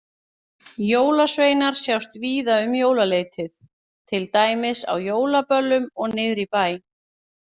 Jólasveinar sjást víða um jólaleytið, til dæmis á jólaböllum og niðri í bæ.